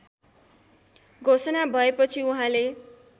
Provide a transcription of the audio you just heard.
घोषणा भएपछि उहाँले